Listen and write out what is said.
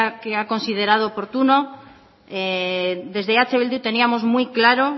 que ha considerado oportuno desde eh bildu teníamos muy claro